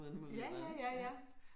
Ja ja, ja, ja